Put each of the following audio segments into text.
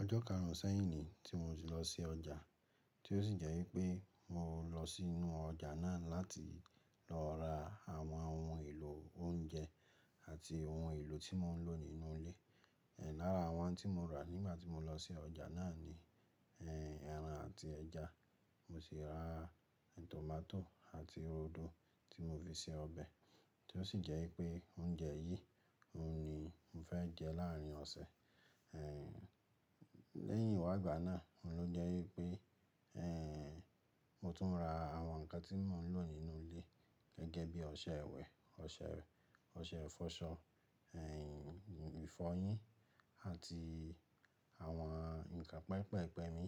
Ọjọ́ karùn-ún sẹ́yìn ni tí mo ti lọ sí ọjà, tí ó sì jẹ́ wípé mo lọ sínú ọjà náà láti lọ ra àwọn ohun èlò oúnjẹ àti ohun èlò tí mò ń lò nínú ilé. Ẹ̀ lára àwọn tí mo rà nígbà tí mo lọ sí ọjà náà ni, ẹ́, ẹran àti ẹja. Mo sì ra tòmátò àti roodo tí mo fi se ọbẹ̀ tí ó sì jẹ́ wípé oúnjẹ yìí ni mo fẹ́ jẹ láàárín ọ̀sẹ̀. Ehn, lẹ́yìn ìwàgbà náà, òun ló jẹ́ wípé, ẹ́, mo tún ń ra àwọn nǹkan tí mò ń lò nínú ilé gẹ́gẹ́ bí ọṣẹ ìwẹ̀, ọṣẹ, ọṣẹ ìfọṣọ, ẹ́, ìfọyín àti àwọn ǹkan pẹpẹ ìpẹ mi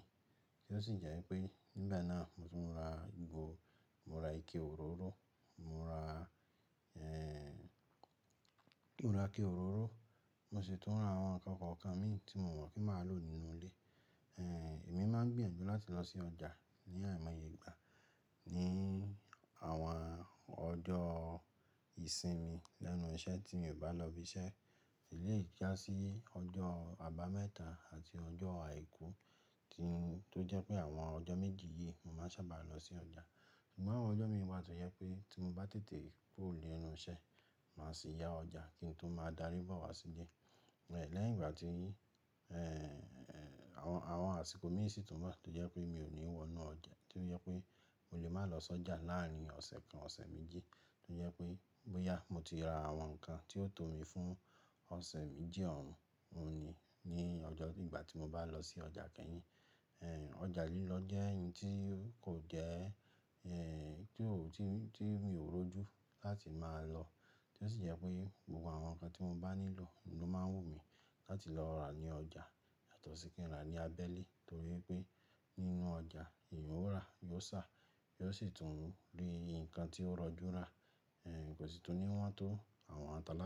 tí ó sì jẹ́ wípé nígbà náà mo tún ra ìgò, mo ra ike òróró, mo ra, ẹ́, mò ra ike òróró. Mo sì tún ra àwọn nǹkan kọ̀ọ̀kan mi tí mo mọ̀ kí màá lò nínú ilé. Ehn, èmi máa ń gbìyànjú láti lọ sí ọjà ní àìmọye ìgbà. Ni àwọn ọjọ́ ìsinmi lẹ́nu iṣẹ́ tí mi ò bá lọ ibi iṣẹ́, sì lè jásí ọjọ́ àbámẹ́ta àti ọjọ́ àìkú tí, tó jẹ́ pé àwọn ọjọ́ méjì yìí mo máa ń sábà lọ sí ọjà. Ṣùgbọ́n àwọn ọjọ́ mi wà tó jẹ́ pé tí mo bá tètè kuro ni enú iṣẹ́, màá sì yá ọjà kí n tó máa darí bọ̀ wá sílé. Ẹ̀ lẹ́yìn ìgbà tí, ẹ́, àwọn, àwọn àsìkò mí sì tún wà tó jẹ́ pé mi ò ní wọ́nú ọjà, tí ó jẹ́ pé mo lè máa lọ sí ọjà láàárín ọ̀sẹ̀ kan, ọ̀sẹ̀ méjì tó jẹ́ pé bóyá mo ti ra àwọn nǹkan tí ó tó mi fún ọ̀sẹ̀ méjì ọ̀un, òhun ni ní ọjọ́ ìgbà tí mo bá lọ sí ọjà kẹ́yìn. Ehn, ọjà lílọ jẹ́ ẹni tí kò jẹ́, ẹ́, tí, tí mi ò rojú láti máa lọ. Tí ó sì jẹ́ pé gbogbo àwọn nǹkan tí mo bá nílò ló máa ń wù mí láti lọ rà ní ọjà yàtọ̀ sí kí n rà ní abẹ́lé torí pé nínú ọjà èèyàn ó rà, yóò sá, yóò sì tún rí nǹkan tí ó rọjú rà, ẹ́, kò sì tún ní wọ́n tó àwọn atalàlá.